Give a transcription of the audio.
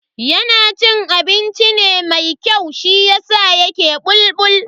Yana cin abinci ne mai kyau shiyasa yake bulbul.